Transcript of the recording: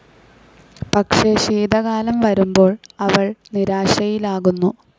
പക്ഷേ, ശീതകാലം വരുമ്പോൾ, അവൾ നിരാശയിലാകുന്നു.